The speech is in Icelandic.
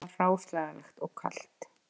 Það var hráslagalegt og kalt